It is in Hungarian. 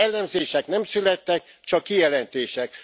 Elemzések nem születtek, csak kijelentések.